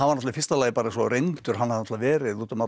í fyrsta lagi svo reyndur hann hafði verið út um allar